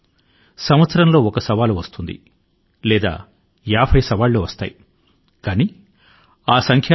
ఏదైనా ఒక సంవత్సరం లో సవాళ్లు ఒకటి నుండి యాభై మధ్య ఉండవచ్చు ఆ సంఖ్య ఆధారం గా ఆ సంవత్సరం మంచిదనీ లేదా చెడ్డదనీ నిర్ణయించకూడదు